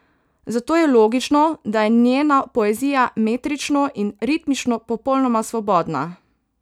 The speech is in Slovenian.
Zato je logično, da je njena poezija metrično in ritmično popolnoma svobodna.